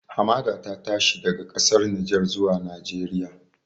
Hamada ta tashi daga ƙasar Nijar zuwa Najeriya